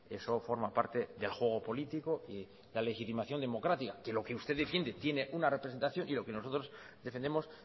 eso forma parte del juego político y la legitimación democrática que lo que usted defiende tiene una representación y lo que nosotros defendemos